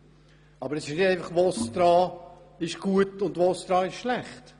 Es geht nicht darum, ob VOSTRA gut oder schlecht ist.